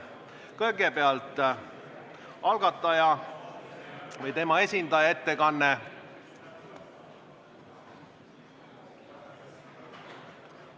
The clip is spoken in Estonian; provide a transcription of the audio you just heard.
Kõigepealt on algataja või tema esindaja ettekanne.